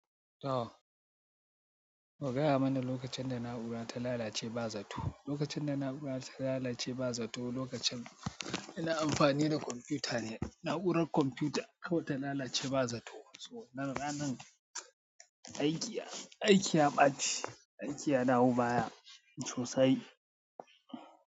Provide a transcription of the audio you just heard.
Toh, ku gaya mana lokacin da na'ura ta lalace ba zato. Lokacin da na'ura ta lalace ba zato, lokacin ina amfani da kwamfuta ne. Na'urar kwamfuta kawai ta lalace ba zato. So nan ranar aiki, aiki ya ɓaci, aiki ya dawo baya sosai.